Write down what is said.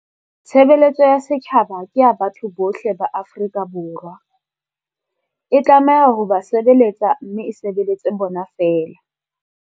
Tshebeletso ya setjhaba ke ya batho bohle ba Afrika Borwa. E tlameha ho ba se beletsa mme e sebeletse bona feela.